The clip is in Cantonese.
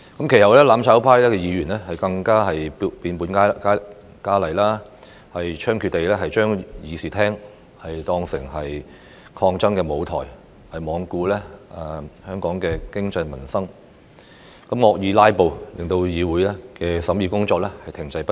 其後，"攬炒派"議員更變本加厲，猖獗地將議事廳當作抗爭舞台，罔顧香港的經濟民生，惡意"拉布"，令議會的審議工作停滯不前。